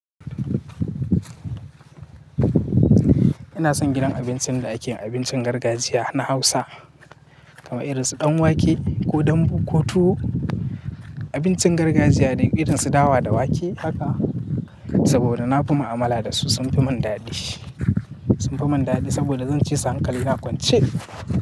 Ina son gidan abincin da ake abincin gargajiya na Hausa kamar irin su ɗan wake ko dambu ko tuwo. Abincin gargajiya da irin su dawa da wake haka saboda na fi ma'amala da su sun fi mun dadi, sun fi mun dadi saboda zan cisu hankali na kwance.